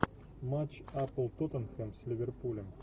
матч апл тоттенхэм с ливерпулем